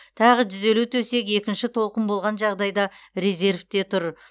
тағы жүз елу төсек екінші толқын болған жағдайда резервте тұр